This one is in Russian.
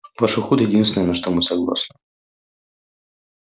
ваш уход единственное на что мы согласны